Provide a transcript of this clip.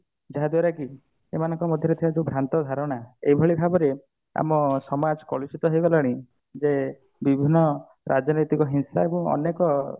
ଯାହା ଦ୍ଵାରା କି ଏମାନଙ୍କ ଭିତରେ ଥିବା ଯୋଉ ଭ୍ରାନ୍ତ ଧାରଣା ଏଇଭଳି ଭାବରେ ଆମ ସମାଜ କଳିସୁତ ହେଇଗଲାଣି ଯେ ବିଭିନ୍ନ ରାଜନୈତିକ ହିଂସା ଏବଂ ଅନେକ